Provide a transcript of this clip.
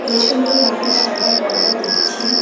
পিছনে লাল সাদা পর্দা দেখছি।